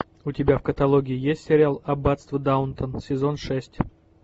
у тебя в каталоге есть сериал аббатство даунтон сезон шесть